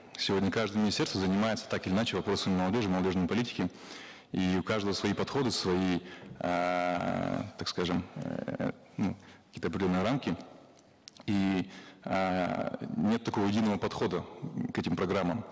сегодня каждое министерство занимается так или иначе вопросами молодежи молодежной политики и у каждого свои подходы свои эээ так скажем эээ ну какие то определенные рамки и эээ нет такого единого подхода м к этим программам